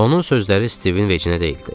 Onun sözləri Stivin vecinə deyildi.